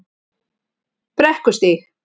Brekkustíg